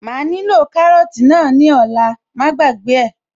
Màá nílò kárọ́tì náà ní ọ̀la, má gbàgbé ẹ̀